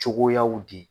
Cogoyaw di